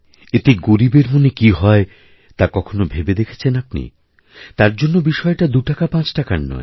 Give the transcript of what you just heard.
এতে গরীবের মনে কী হয় তা কখনও ভেবে দেখেছেন আপনি তার জন্য বিষয়টা দুটাকাপাঁচটাকার নয়